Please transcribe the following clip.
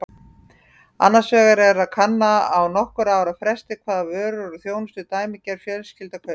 Annars vegar er kannað á nokkurra ára fresti hvaða vörur og þjónustu dæmigerð fjölskylda kaupir.